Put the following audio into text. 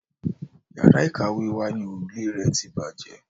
Yàrá ìkàwé wa ni òrùfé rẹ̀ ti bàjẹ́.